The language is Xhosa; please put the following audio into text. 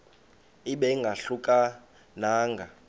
ibe ingahluka nanga